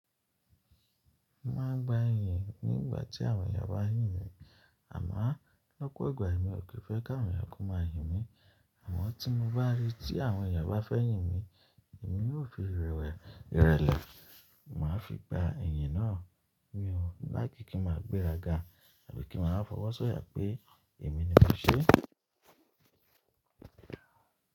Máan gba ìyìn nígbà tí àwọn eeyán bá n yìn mí, àmó lọ́pọ̀ ìgbà ni mi ò kí fẹ́ káwọn eniyan ko maa yìn mí, àmọ́ tí mo bá ríi tí àwọn ìyá bá fẹ́ yìn mí, èmi yóò fi ìrẹlẹ̀ má a fi gba ìyìn náà mi ọ, láìkí ki ma gbéraga àbí kí n má a fọwọ́sọ̀yà pé èmi ni mo ṣe.